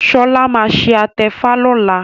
Shola má ṣe atefa lọla